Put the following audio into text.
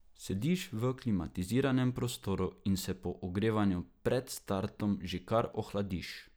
Sediš v klimatiziranem prostoru in se po ogrevanju pred startom že kar ohladiš.